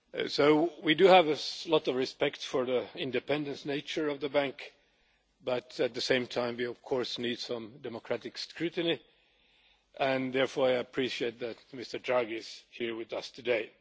So we do have a lot of respect for the independent nature of the bank, but at the same time we of course need some democratic scrutiny, and I therefore appreciate that Mr Draghi is here with us today.